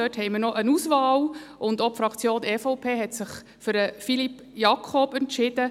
Dort haben wir noch eine Auswahl, und auch die EVP-Fraktion hat sich für Philippe Jakob entschieden.